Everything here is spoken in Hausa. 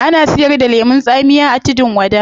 Ana siyar da lemun tsamiya a tudun wada